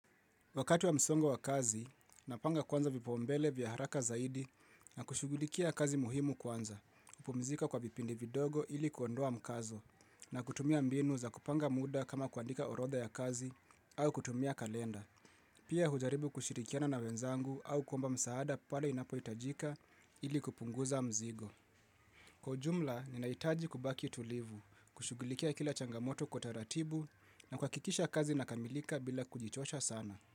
Wakati wa msongo wa kazi, napanga kwanza vipaumbele vya haraka zaidi na kushugulikia kazi muhimu kwanza, kupumzika kwa vipindi vindogo ili kuondoa mkazo na kutumia mbinu za kupanga muda kama kuandika orodha ya kazi au kutumia kalenda. Pia hujaribu kushirikiana na wenzangu au kuomba msaada pale inapohitajika ili kupunguza mzigo. Kwa ujumla, ninahitaji kubaki tulivu, kushugulikia kila changamoto kwa ratibu na kuhakikisha kazi inakamilika bila kujichosha sana.